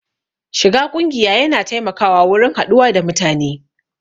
Shiga ƙungiya ya na taimakawa wurin haɗuwa da mutane